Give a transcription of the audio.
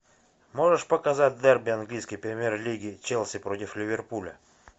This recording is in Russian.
можешь показать дерби английской премьер лиги челси против ливерпуля